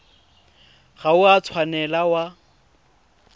ga o a tshwanela wa